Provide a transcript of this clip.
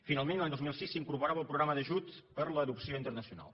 finalment l’any dos mil sis s’hi incorporava el programa d’ajuts per a l’adopció internacional